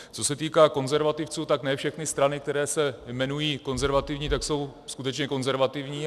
Co se týká konzervativců, tak ne všechny strany, které se jmenují konzervativní, tak jsou skutečně konzervativní.